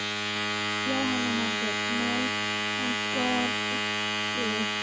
Jóhanna Margrét: Nei, hann skoraði?